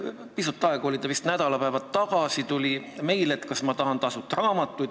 Pisut aega, vist nädalapäevad tagasi sain ma meili küsimusega, kas ma tahan tasuta raamatuid.